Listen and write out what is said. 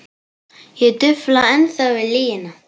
Ég dufla ennþá við lygina.